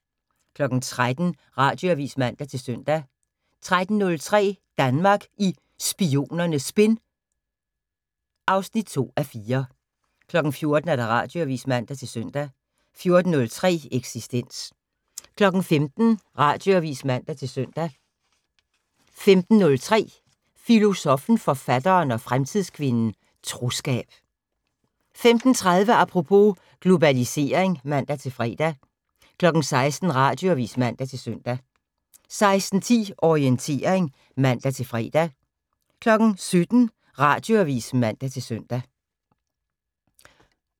13:00: Radioavis (man-søn) 13:03: Danmark i Spionernes Spind (2:4) 14:00: Radioavis (man-søn) 14:03: Eksistens 15:00: Radioavis (man-søn) 15:03: Filosoffen, Forfatteren og Fremtidskvinden - Troskab 15:30: Apropos - Globalisering (man-fre) 16:00: Radioavis (man-søn) 16:10: Orientering (man-fre) 17:00: Radioavis (man-søn)